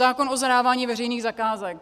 Zákon o zadávání veřejných zakázek.